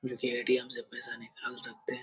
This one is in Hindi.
जो की ए.टी.एम. से पैसा निकाल सकते है।